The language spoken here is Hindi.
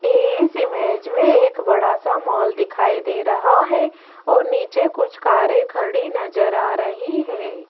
इस इमेज में एक बड़ा सा मॉल दिखाई दे रहा है और नीचे कुछ कारे खड़ी नजर आ रही है।